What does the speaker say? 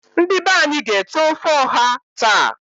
Ndi be anyi ga ete ofe oha taa.